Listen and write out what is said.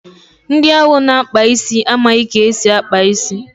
Ndị ahụ na-akpa isi amaghị ka esi akpa isi.